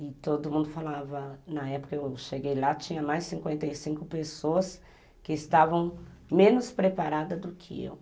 E todo mundo falava, na época que eu cheguei lá tinha mais cinquenta e cinco pessoas que estavam menos preparadas do que eu.